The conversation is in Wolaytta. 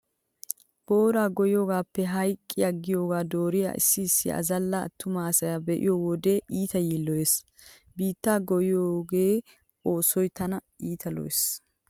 Booraa goyyiyogaappe hayqqi aggiyogaa dooriya issi issi azalla attuma asaa be'iyo wode iita yiilloyees. Biittaa goyyiyo oosoy tana iita lo"ees.